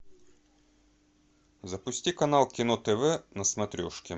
запусти канал кино тв на смотрешке